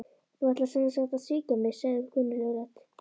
Þú ætlar sem sagt að svíkja mig- sagði kunnugleg rödd.